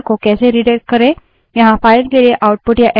यहाँ file के लिए output या error को redirect करने के दो मार्ग हैं